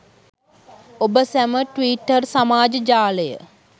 ඔබ සැම ට්විටර් සමාජ ජාලය